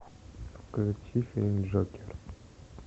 включи фильм джокер